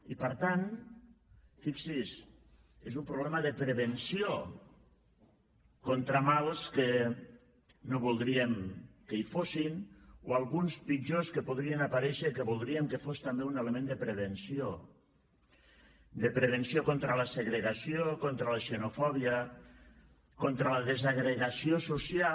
i per tant fixi’s és un problema de prevenció contra mals que no voldríem que hi fossin o alguns pitjors que podrien aparèixer que voldríem que fos també un element de prevenció de prevenció contra la segregació contra la xenofòbia contra la desagregació social